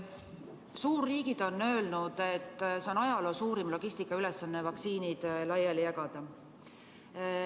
Suurriigid on öelnud, et see on ajaloo suurim logistikaülesanne – vaktsiinid laiali jagada.